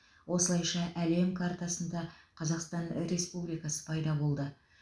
осылайша әлем картасында қазақстан республикасы пайда болды